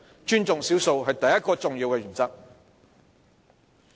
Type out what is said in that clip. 尊重少數是第一個重要的原則。